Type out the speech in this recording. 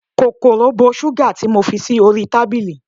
kòkòrò bo sugar ti mo fi sí orí tábìlì